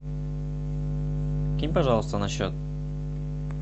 кинь пожалуйста на счет